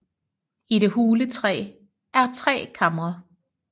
I det hule træ er tre kamre